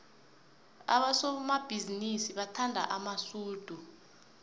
abosomabhizinisi bathanda amasudu